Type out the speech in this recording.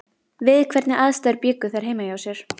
Við hvernig aðstæður bjuggu þær heima hjá sér?